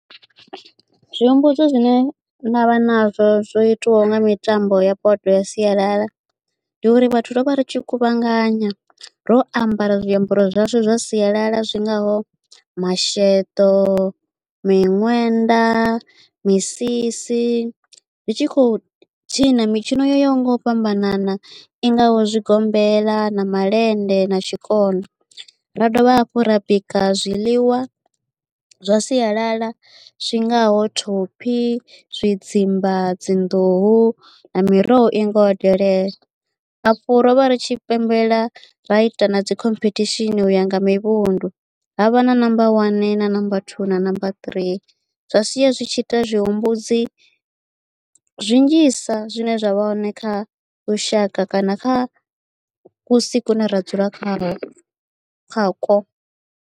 Zwi humbudzo zwine ndavha nazwo zwo itiwaho nga mitambo ya potwa ya sialala ndi uri vhathu ro vha ri tshi khuvhanganywa ro ambara zwiambaro zwashu zwa sialala zwi ngaho masheḓo, miṅwenda, misisi ndi tshi khou tshina mitshino yo yaho nga u fhambanana i ngaho zwigombela na malende na tshikona ra dovha hafhu ra bika zwiḽiwa zwa sialala zwi ngaho thophi, tshidzimba, dzinḓuhu na miroho i ngaho delele. Afho ro vha ri tshi pembela ra ita na dzi khomphethishini uya nga mivhundu havha na namba wani na namba thuu na namba ṱirii zwa sia zwi tshi ita tshihumbudzi zwi nnzhisa zwine zwa vha hone kha lushaka kana kha kusi kune ra dzula kha kha ko hone.